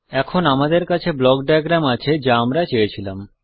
এখন আমাদের কাছে ব্লক ডায়াগ্রাম আছে যা আমরা চেয়েছিলাম